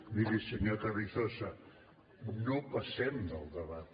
miri senyor carrizosa no passem del debat